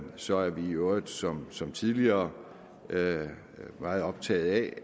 så er vi i øvrigt som som tidligere meget optaget af